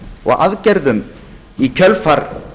og aðgerðum í kjölfar